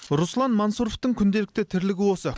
руслан мансұровтың күнделікті тірлігі осы